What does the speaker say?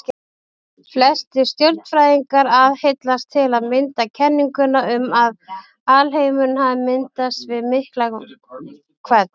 Flestir stjörnufræðingar aðhyllast til að mynda kenninguna um að alheimurinn hafi myndast við Miklahvell.